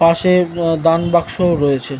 পাশের দান বাক্স ও রয়েছে।